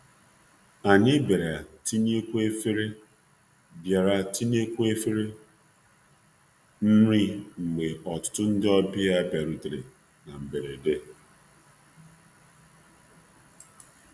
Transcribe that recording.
um Anyị bịara um tinyekwuo efere nri mgbe ọtụtụ ndị um ọbịa bịarutere na mberede.